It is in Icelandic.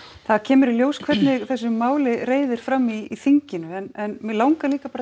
það kemur í ljós hvernig þessu máli reiðir fram í þinginu en mig langar líka